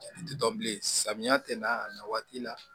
Ti dɔn bilen samiya tɛ na waati la